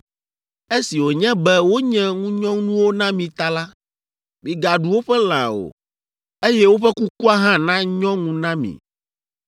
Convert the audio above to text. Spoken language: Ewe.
Esi wònye be wonye ŋunyɔnuwo na mi ta la, migaɖu woƒe lã o, eye woƒe kukua hã nanyɔ ŋu na mi.